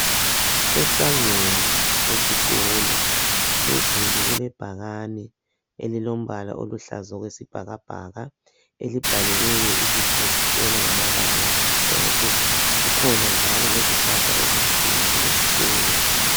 Esangweni lesikolo phezulu kulebhakane elilombala oluhlaza okwesibhakabhaka elibhaliweyo ibizo lesikolo ngamabala amhlophe. Kukhona njalo lezihlahla ezinkulu esikolo.